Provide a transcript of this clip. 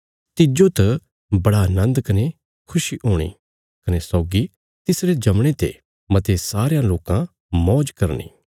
तिज्जो त बड़ा नन्द कने खुशी हूणी कने सौगी तिसरे जमणे ते मते सारयां लोकां मौज करनी